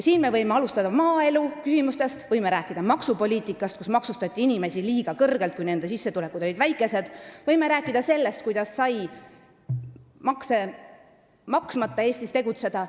Me võime alustada maaeluküsimustest, me võime rääkida maksupoliitikast, sellest, et inimesi, kelle sissetulekud olid väikesed, maksustati liiga kõrgelt, me võime rääkida sellest, kuidas sai makse maksmata Eestis tegutseda.